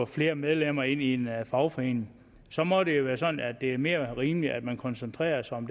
flere medlemmer ind i en fagforening så må det være sådan at det er mere rimeligt at man koncentrerer sig om